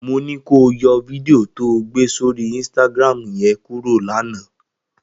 Mo ní kó o yọ fídíò to gbé sórí Instagram yẹn kúrò lánàá!